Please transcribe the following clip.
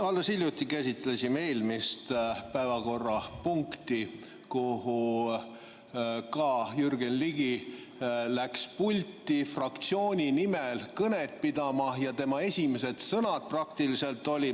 Alles hiljuti käsitlesime eelmist päevakorrapunkti ning kui Jürgen Ligi läks pulti fraktsiooni nimel kõnet pidama, siis tema esimesed sõnad olid ...